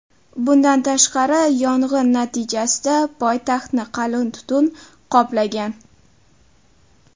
Bundan tashqari, yong‘in natijasida poytaxtni qalin tutun qoplagan.